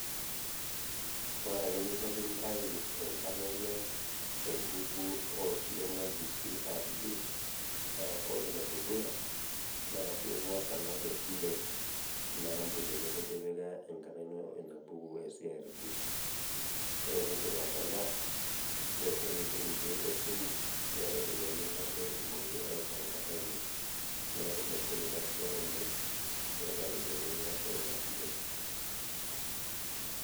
Oreake eninko piintayu enkarna ino te mbuku osilen naji CRB naa ore nedukuya naa piingas alak esile eina ampuni nekitipika enkarna ino ina buku e  CRB. Ore piindip atalaa nioshoki sininche esimu, neetai iropiani nilak peetumokini aitau enkarna ino neaku emegol ina siai oleng' iata iropiani nilakie nena silen.